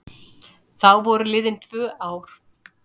Þá voru liðin tvö ár.